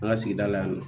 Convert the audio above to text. An ka sigida la yan nɔ